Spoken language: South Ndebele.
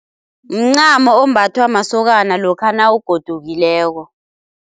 Mncamo ombathwa masokana lokha nawugodukileko.